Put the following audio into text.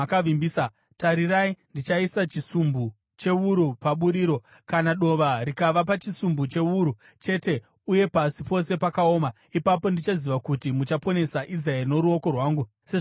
tarirai, ndichaisa chisumbu chewuru paburiro. Kana dova rikava pachisumbu chewuru chete uye pasi pose pakaoma, ipapo ndichaziva kuti muchaponesa Israeri noruoko rwangu, sezvamakareva.”